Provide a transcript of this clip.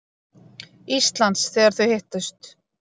Íslands, þegar þau hittust.